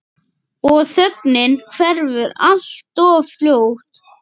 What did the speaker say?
Og þögnin hverfur alltof fljótt.